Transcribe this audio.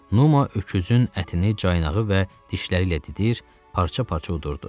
Numa öküzün ətini caynağı və dişləri ilə didir, parça-parça yudurdu.